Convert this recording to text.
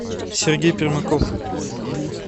сергей пермаков